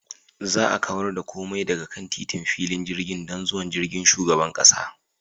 Za a kawar da komai daga kan titin filin jirgin don zuwan jirgin shugaban kasa.